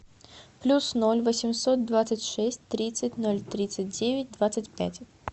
плюс ноль восемьсот двадцать шесть тридцать ноль тридцать девять двадцать пять